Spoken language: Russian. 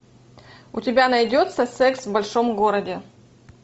у тебя найдется секс в большом городе